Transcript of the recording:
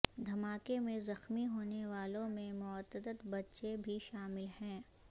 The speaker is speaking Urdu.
دھماکے میں زخمی ہونے والوں میں متعدد بچے بھی شامل ہیں